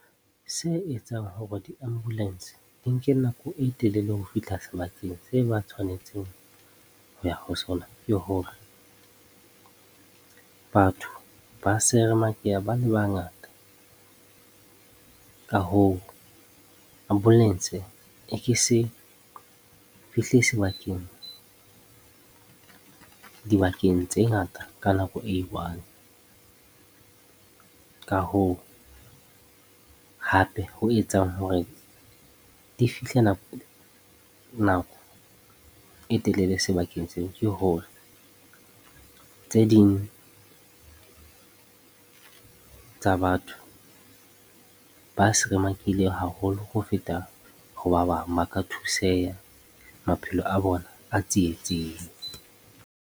Se etsang hore di-ambulance di nke nako e telele ho fihla sebakeng se ba tshwanetseng ho ya ho sona, ke hore batho ba seremakeha ba le bangata. Ka hoo, ambulance e ke se fihle sebakeng, dibakeng tse ngata ka nako e i-one. Ka hoo, hape ho etsang hore di fihle nako e telele sebakeng seo ke hore tse ding tsa batho ba seremakehile haholo ho feta ho ba bang. Ba ka thuseha, maphelo a bona a tsietsing.